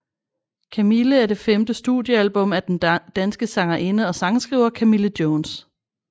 Camille er det femte studiealbum af den danske sangerinde og sangskriver Camille Jones